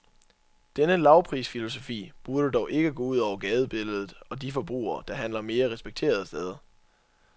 Denne lavprisfilosofi burde dog ikke gå ud over gadebilledet og de forbrugere, der handler mere respekterede steder.